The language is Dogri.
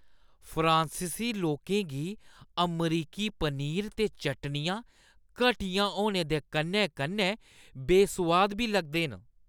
फ्रांसीसी लोकें गी अमरीकी पनीर ते चटनियां घटिया होने दे कन्नै-कन्नै बेसोआद बी लगदे न।